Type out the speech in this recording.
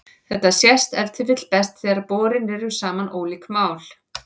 Þetta sést ef til vill best þegar borin eru saman ólík mál.